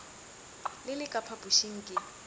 le le ka phapošing ke